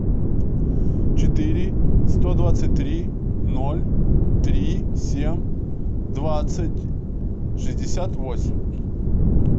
четыре сто двадцать три ноль три семь двадцать шестьдесят восемь